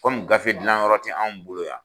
Kɔmi gafe dilan yɔrɔ tɛ anw bolo yan.